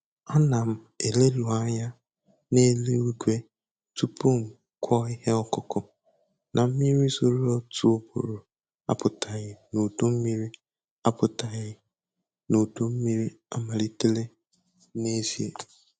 Ana m eleruanya n'eluigwe tupu m kụo ihe ọkụkụ; na mmiri zoro otu ugboro apụtaghị n'udu mmiri apụtaghị n'udu mmiri amalitela n'ezie.